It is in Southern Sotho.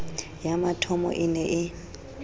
ya mathomo e ne e